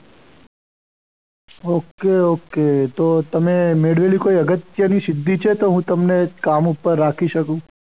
okay okay તો તમે મેળવેલી અગત્યની કોઈ સિદ્ધિ છે કે હું તમને કામ ઉપર રાખી શકું.